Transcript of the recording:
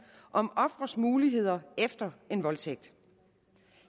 om ofres muligheder efter en voldtægt